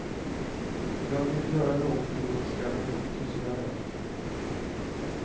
Jag ville göra någonting mot skammen och tystnaden.